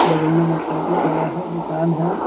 बगल में मोटरसाइकिल खड़ा है दूकान है।